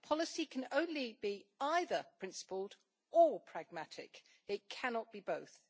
The policy can only be either principled, or pragmatic, it cannot be both.